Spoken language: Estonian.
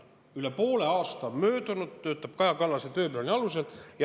Üle poole aasta on möödunud, ja töötatakse Kaja Kallase tööplaani alusel.